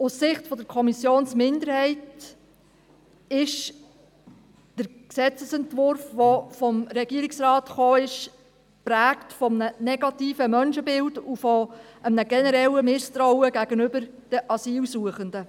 Aus Sicht der Kommissionsminderheit ist der Gesetzesentwurf, den der Regierungsrat vorlegt, geprägt von einem negativen Menschenbild und einem generellen Misstrauen gegenüber den Asylsuchenden.